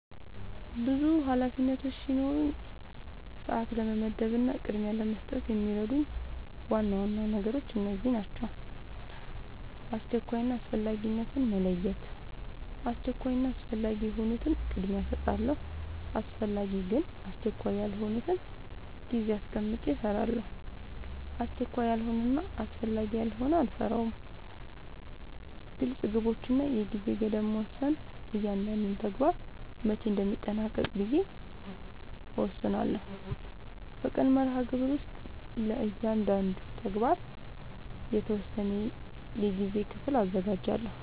ብዙ ኃላፊነቶች ሲኖሩኝ ሰዓት ለመመደብ እና ቅድሚያ ለመስጠት የሚረዱኝ ዋና ዋና ነገሮች እነዚህ ናቸው :-# አስቸኳይ እና አስፈላጊነትን መለየት:- አስቸኳይ እና አስፈላጊ የሆኑትን ቅድሚያ እሰጣለሁ አስፈላጊ ግን አስቸካይ ያልሆነውን ጊዜ አስቀምጨ እሰራለሁ አስቸካይ ያልሆነና አስፈላጊ ያልሆነ አልሰራውም # ግልፅ ግቦች እና የጊዜ ገደብ መወሰን እያንዳንዱን ተግባር መቼ እንደሚጠናቀቅ ብዬ እወስናለሁ በቀን መርሃግብር ውስጥ ለእያንዳንዱ ተግባር የተወሰነ የጊዜ ክፍል አዘጋጃለሁ